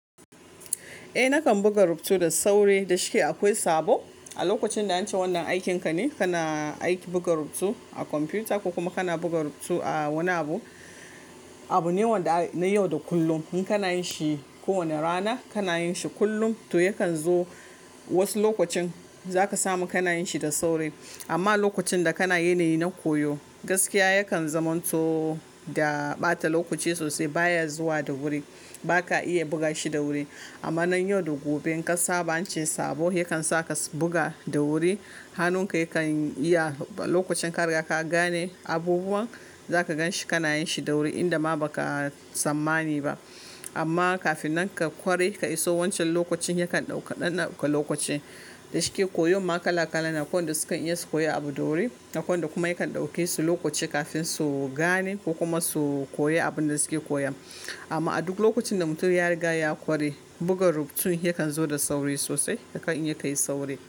Eh nakan buga rubutu da sauri, dashi ake akwai sabo. A lokacin da an ce wannan aikin ka ne, kana aiki buga rubutu a kwamfuta ko kuma kana buga rubutu a wani abu, abu ne wanda na yau da kullum in kana yin shi kowane rana, kana yin shi kullum to yakan zo wasu lokacin za ka samu kana yin shi da sauri. Amma a lokacin da kana yanayi na koyo gaskiya yakan zamanto da ɓata lokaci sosai baya zuwa da wuri, ba ka iya buga shi da wuri. Amma nan yau da gobe in ka saba an ce sabo yakan sa ka buga da wuri. Hannun ka yakan iya lokacin ka riga ka gane abubuwan za ka gan shi kana yin shi da wuri inda ma ba ka tsammani ba. Amma kafin nan ka ƙware ka iso wancan lokacin yakan ɗauka ɗan ɗauka lokaci. Da shike koyon ma kala kala na waɗanda sukan iya su koyi abu da wuri, akwai waɗanda kuma yakan ɗauke su lokaci kafin su gane ko kuma su koyi abin da suke koyan. Amma a duk lokacin da mutum ya riga ya ƙware buga rubutun yakan zo da sauri sosai yakan iya kai sauri.